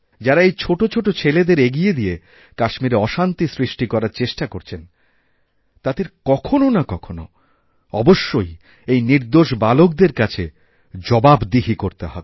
যারা এইছোটো ছোটো ছেলেদের এগিয়ে দিয়ে কাশ্মীরে অশান্তি সৃষ্টি করার চেষ্টা করছেন তাদেরকখনও না কখনও অবশ্যই এই নির্দোষ বালকদের কাছে জবাবদিহি করতে হবে